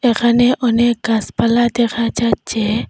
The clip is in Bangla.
এখানে অনেক গাসপালা দেখা যাচ্ছে।